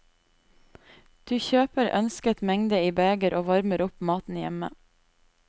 Du kjøper ønsket mengde i beger og varmer opp maten hjemme.